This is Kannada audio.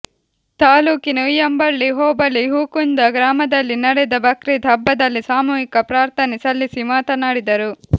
ತಾಲ್ಲೂಕಿನ ಉಯ್ಯಂಬಳ್ಳಿ ಹೋಬಳಿ ಹೂಕುಂದ ಗ್ರಾಮದಲ್ಲಿ ನಡೆದ ಬಕ್ರೀದ್ ಹಬ್ಬದಲ್ಲಿ ಸಾಮೂಹಿಕ ಪ್ರಾರ್ಥನೆ ಸಲ್ಲಿಸಿ ಮಾತನಾಡಿದರು